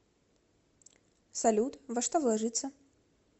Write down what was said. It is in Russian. салют во что вложиться